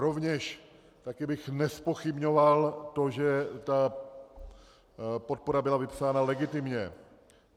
Rovněž bych také nezpochybňoval to, že ta podpora byla vypsána legitimně.